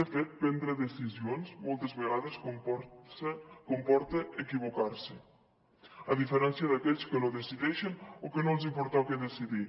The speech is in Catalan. de fet prendre decisions moltes vegades comporta equivocar se a diferència d’aquells que no decideixen o que no els pertoca decidir